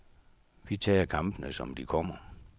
Vi tager kampene, som de kommer.